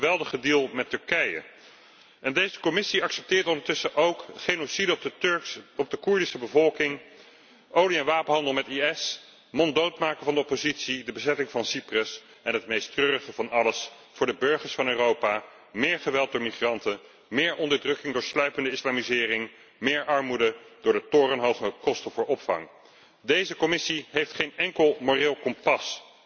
Dat is de geweldige deal met Turkije! En deze Commissie accepteert ondertussen ook genocide op de Koerdische bevolking, olie en wapenhandel met de IS, het monddood maken van de oppositie, de bezetting van Cyprus en het meest treurige van alles voor de burgers van Europa meer geweld door migranten, meer onderdrukking door sluipende islamisering, meer armoede door de torenhoge kosten voor opvang. Deze Commissie heeft geen enkel moreel kompas.